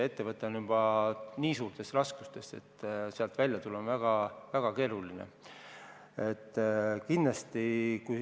Ettevõte on juba nii suurtes raskustes, et sealt välja tulla on väga keeruline.